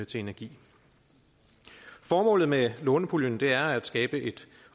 til energi formålet med lånepuljen er at skabe et